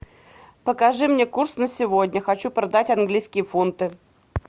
покажи мне курс на сегодня хочу продать английские фунты